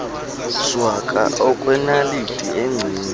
shwaka okwenaliti engceni